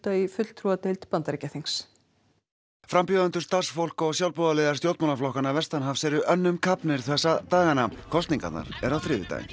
í fulltrúadeild Bandaríkjaþings frambjóðendur starfsfólk og sjálfboðaliðar stjórnmálaflokkanna vestanhafs eru önnum kafnir þessa dagana kosningarnar eru á þriðjudaginn